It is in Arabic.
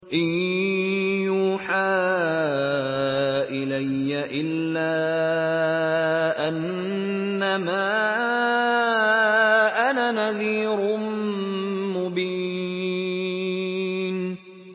إِن يُوحَىٰ إِلَيَّ إِلَّا أَنَّمَا أَنَا نَذِيرٌ مُّبِينٌ